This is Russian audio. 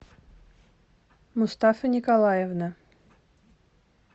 мустафа николаевна